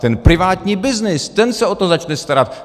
Ten privátní byznys, ten se o to začne starat.